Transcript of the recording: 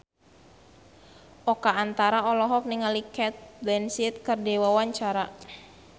Oka Antara olohok ningali Cate Blanchett keur diwawancara